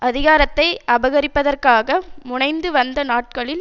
அதிகாரத்தை அபகரிப்பதற்காக முனைந்து வந்த நாட்களில்